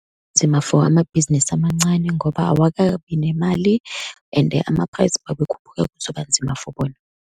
Nzima for amabhizinisi amancane, ngoba awakabinemali and ama-price uma ekhuphuka kuzoba nzima for bona.